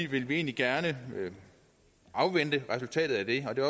vil vi egentlig gerne afvente resultatet af det og det